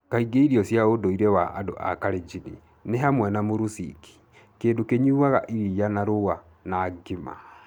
Kaingĩ irio cia ũndũire cia andũ a Kalenjin nĩ hamwe na muruciki, kĩndũ kĩnyuuaga iria na rũũa, na ugali.